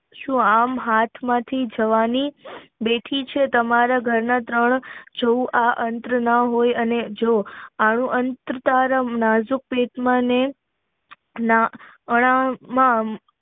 સુ આમ હાથ માંથી જવાની બેઠી છે તમારા ઘર માં ત્રણ જોવ અત્ર ના હોય અને જોવ આવું અત્ર તારા નાજુક પેટ માં